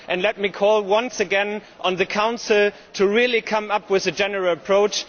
Let me call once again on the Council to come up with a general approach.